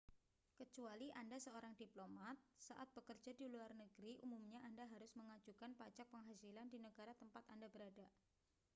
kecuali anda seorang diplomat saat bekerja di luar negeri umumnya anda harus mengajukan pajak penghasilan di negara tempat anda berada